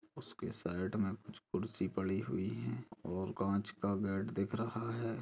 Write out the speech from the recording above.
उसके साइड मे कुछ कुर्सी पड़ी हुई है और काँच का बेड दिख रहा है ।